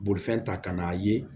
Bolifɛn ta ka na ye